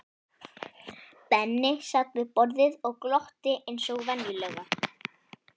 Benni sat við borðið og glotti eins og venjulega.